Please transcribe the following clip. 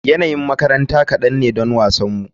Yanayin makaranta kadan ne don wasanmu.